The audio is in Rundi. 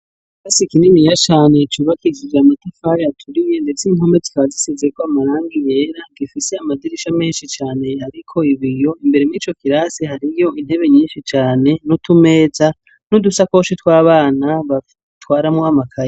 kasikininiya chane cubak igige matifar yaturiye ndetse impametikabazisize ko amarangi yera gifise amadirisha menshi cyane ariko ibiyo imbere m'ico kirasi hariyo intebe nyinshi cane n'utumeza n'udusakoshi tw'abana batwaramu amakari